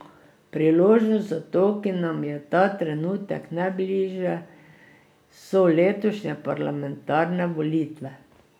Priložnost za to, ki nam je ta trenutek najbližje, so letošnje parlamentarne volitve.